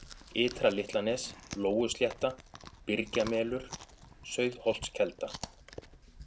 Ytra-Litlanes, Lóuslétta, Byrgjamelur, Sauðholtskelda